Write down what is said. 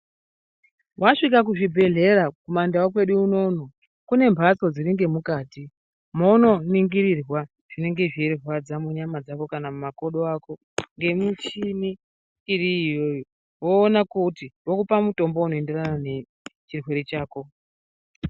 Wasvika kuzvibhedhlera kumandau kwedu kunoku kune mbatso dziri mukati mondoningurwa nyama dzako kana makodo Ako nemichini inenge iriyo wokupa mutombo unoenderana nechirwere chako.